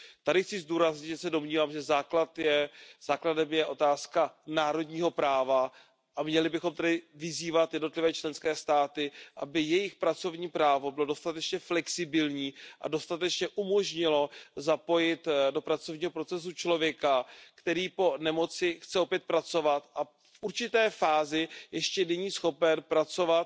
Tady chci zdůraznit, že se domnívám, že základem je otázka národního práva, a měli bychom tedy vyzývat jednotlivé členské státy, aby jejich pracovní právo bylo dostatečně flexibilní a dostatečně umožnilo zapojit do pracovního procesu člověka, který po nemoci chce opět pracovat a v určité fázi ještě není schopen pracovat